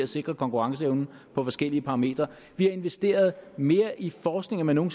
sikre konkurrenceevnen på forskellige parametre vi har investeret mere i forskning end man nogen